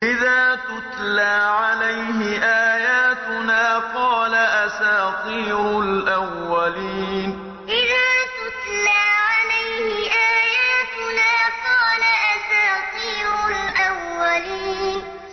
إِذَا تُتْلَىٰ عَلَيْهِ آيَاتُنَا قَالَ أَسَاطِيرُ الْأَوَّلِينَ إِذَا تُتْلَىٰ عَلَيْهِ آيَاتُنَا قَالَ أَسَاطِيرُ الْأَوَّلِينَ